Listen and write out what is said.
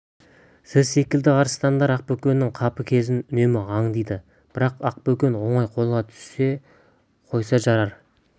сіз секілді арыстандар ақбөкеннің қапы кезін үнемі аңдиды бірақ ақ- бөкен оңай қолға түсе қойса жарар